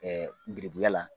gerebuya la.